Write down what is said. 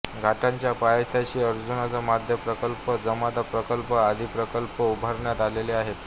घाटाच्या पायथ्याशी अर्जुना मध्यम प्रकल्प जामदा प्रकल्प आदी प्रकल्प उभारण्यात आलेले आहेत